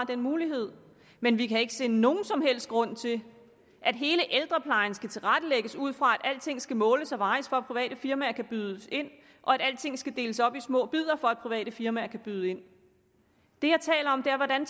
den mulighed men vi kan ikke se nogen som helst grund til at hele ældreplejen skal tilrettelægges ud fra at alting skal måles og vejes for at private firmaer kan byde ind og at alting skal deles op i små bidder for at private firmaer kan byde ind det jeg taler om er hvordan